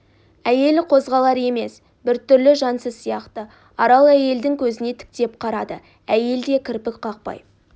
әйел қозғалар емес бір түрлі жансыз сияқты арал әйелдің көзіне тіктеп қарады әйел де кірпік қақпай